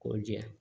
K'o jɛya